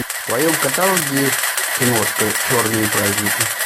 в твоем каталоге есть киношка черные праздники